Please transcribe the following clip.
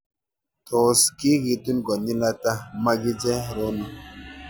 Tos' kikitun konyil ata makiche rono